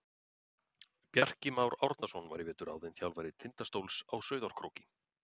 Bjarki Már Árnason var í vetur ráðinn þjálfari Tindastóls á Sauðárkróki.